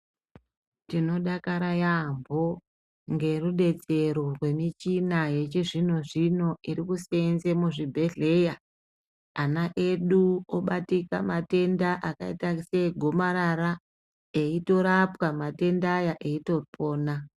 Tinodakara yambo ngerudetsero rwemichina yechizvino-zvino iri kuseenze muzvibhedhleya, ana edu obatika matenda akayita seegomarara, eyitorapwa matenda aya eyitopona.